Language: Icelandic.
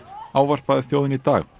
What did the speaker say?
ávarpaði þjóðina í dag